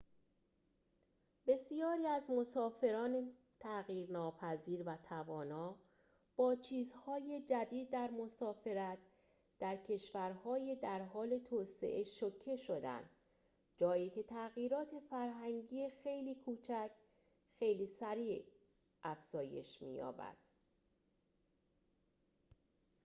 بسیاری از مسافران تغییر ناپذیر و توانا با چیزهای جدید در مسافرت در کشورهای در حال توسعه شوکه شدند جایی که تغییرات فرهنگی خیلی کوچک خیلی سریع افزایش می‌یابد